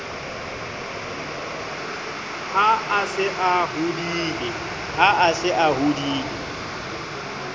ha a se a hodile